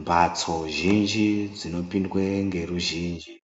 Mhatso zhinji dzinopindwe ngeruzhinji